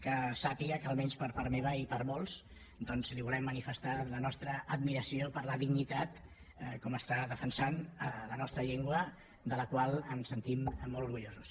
que sàpiga que almenys per part meva i per molts doncs li volem manifestar la nostra admiració per la dignitat com està defensant la nostra llengua de la qual ens sentim molt orgullosos